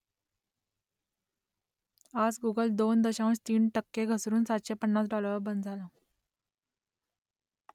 आज गुगल दोन दशांश तीन टक्के घसरून सातशे पन्नास डाॅलरवर बंद झालं